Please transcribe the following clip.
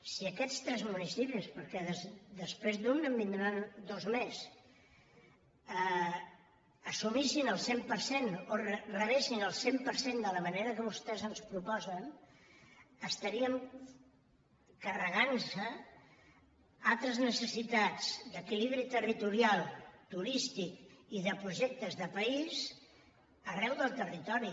si aquests tres municipis perquè després d’un en vindran dos més n’assumissin el cent per cent o en rebessin el cent per cent de la manera que vostès ens proposen estaríem carregant nos altres necessitats d’equilibri territorial turístic i de projectes de país arreu del territori